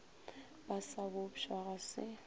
ba sa bopša ga se